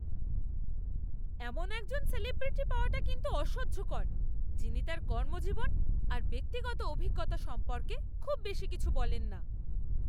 এমন একজন সেলিব্রিটি পাওয়াটা কিন্তু অসহ্যকর, যিনি তাঁর কর্মজীবন আর ব্যক্তিগত অভিজ্ঞতা সম্পর্কে খুব বেশি কিছু বলেন না।